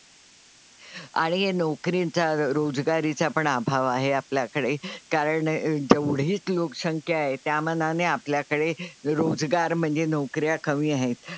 आणि नोकरीचा रोजगारीचा पण अभाव आहे आपल्याकडे, कारण जेवढी लोकसंख्या आहे त्या मानाने आपल्याकडे रोजगार म्हणजे नोकऱ्या कमी आहेत.